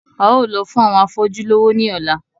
A óò lọ fún àwọn afọ́jú lówó ní ọ̀la